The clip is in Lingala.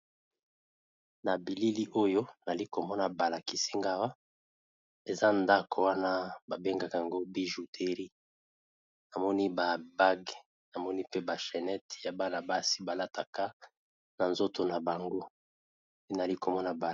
Na bilili oyo nalikomona balakisi ngai Awa eza ndako wana babenga yango bijouterie na moni ba bague pe ba chenette yabana basi balataka yango na nzoto nabango ndenazali komona ba.